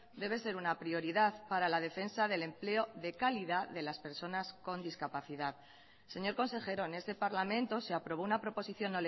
debe ser una prioridad para la defensa del empleo de calidad de las personas con discapacidad señor consejero en este parlamento se aprobó una proposición